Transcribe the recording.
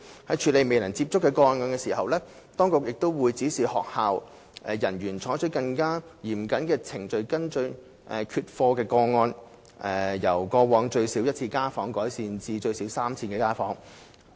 在處理"未能接觸"的個案時，當局會指示學校人員採取更嚴謹的程序跟進缺課個案，由過往最少1次家訪，增加至最少3次家訪。